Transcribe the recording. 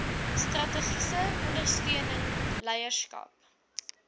strategiese ondersteuning leierskap